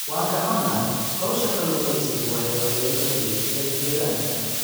Waan ka xunahay, hawsha kalluumaysigu waxay waxyeelo u gaysatay deegaanka.